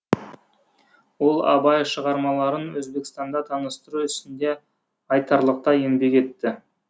ол абай шығармаларын өзбекстанда таныстыру ісінде айтарлықтай еңбек етті